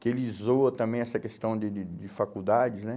Que ele zoa também essa questão de de de faculdades, né?